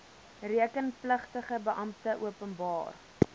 rekenpligtige beampte openbaar